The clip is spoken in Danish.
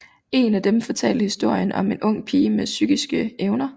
En af dem fortalte historien om en ung pige med psykiske evner